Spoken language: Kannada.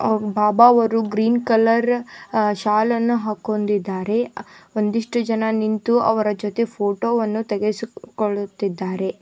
ಒಬ್ ಬಾಬಾ ಅವರು ಗ್ರೀನ್ ಕಲರ್ ಅ ಶಾಲನ್ನು ಹಾಕಿಕೊಂಡಿದ್ದಾರೆ ಒಂದಿಷ್ಟು ಜನ ನಿಂತು ಅವರ ಜೊತೆ ಫೋಟೋ ವನ್ನು ತೆಗೆಸಿಕೊಳ್ಳುತ್ತಿದ್ದಾರೆ.